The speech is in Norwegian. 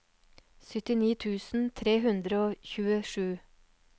syttini tusen tre hundre og tjuesju